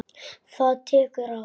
Það tekur ár.